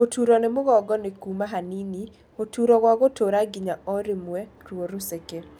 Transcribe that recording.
Gũturo nĩ mũgongo nĩ kuma hanini, gũturo gwa gũtũũra ginya ũrimwe, ruo rũceke